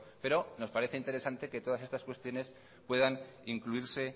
pero nos parece interesante que todas estas cuestiones puedan incluirse